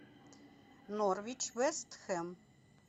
норвич вест хэм